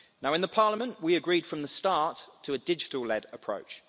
In the Parliament we agreed from the start on a digital led approach.